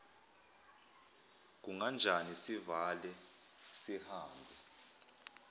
kunganjani sivale sihambe